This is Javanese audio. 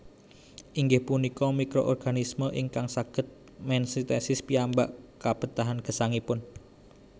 Inggih punika mikroorganisme ingkang saged mensintesis piyambak kabetahan gesangipun